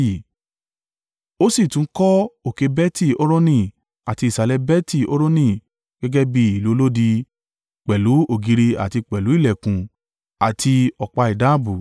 Ó sì tún kọ́ òkè Beti-Horoni àti ìsàlẹ̀ Beti-Horoni gẹ́gẹ́ bí ìlú olódi, pẹ̀lú ògiri àti pẹ̀lú ìlẹ̀kùn àti ọ̀pá ìdábùú.